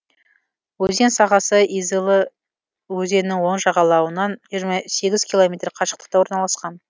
өзен сағасы изылы өзенінің оң жағалауынан жиырма сегіз километр қашықтықта орналасқан